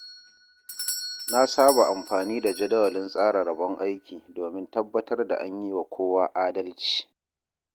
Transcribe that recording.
Na saba amfani da jadawalin tsara rabon aiki domin tabbatar da an yi wa kowa adalci.